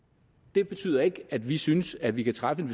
det betyder ikke at vi synes at vi kan træffe en